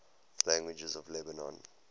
languages of lebanon